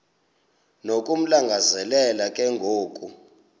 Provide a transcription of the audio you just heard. nokumlangazelela ke ngoku